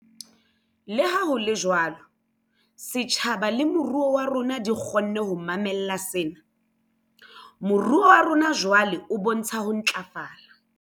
Leha ho le jwalo, setjhaba le moruo wa rona di kgonne ho mamella sena. Moruo wa rona jwale o bontsha ho ntlafala.